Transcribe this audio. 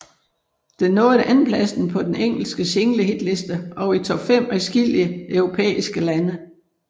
Den nåede andenpladsen på den engelske singlehitliste og i top fem i adskillige europæiske lande